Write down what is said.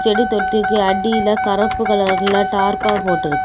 தொட்டிக்கு அடில கருப்பு கலர்ல தார்ப்பா போட்டிருக்கு.